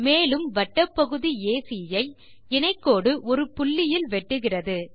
மேலும் வட்டப்பகுதி ஏசி ஐ இணை கோடு ஒரு புள்ளியில் வெட்டுகிறது